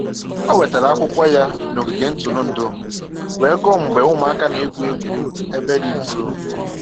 Ọ wetara akwụkwọ ya n'ogige ntụrụndụ wee gụọ mgbe ụmụaka na-egwu egwu ebe dị nso